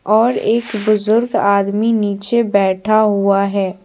और एक बुजुर्ग आदमी नीचे बैठा हुआ है।